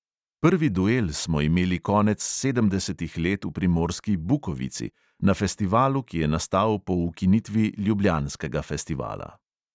Prvi duel smo imeli konec sedemdesetih let v primorski bukovici, na festivalu, ki je nastal po ukinitvi ljubljanskega festivala.